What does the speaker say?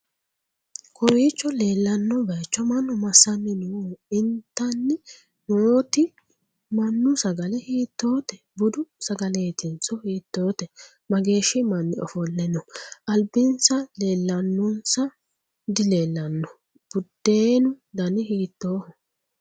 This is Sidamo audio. kowiicho leellanno bayiicho mannu massanni nooho? itanni nooti mannu saga'le hiittote? budu sagaletinso hiittote? mageehshsi manni ofolle no ?albinsa leellannonso dileellanno? budeenu dani hiittoho?